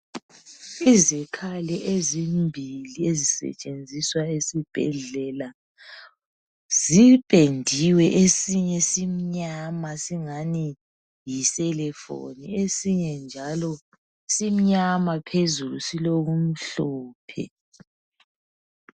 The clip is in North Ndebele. Izikhali ezimbili esisetshenziswa esibhedlela zipendiwe esinye simnyama singani yi selefoni esinye njalo simnyama phezulu silokumhlophe.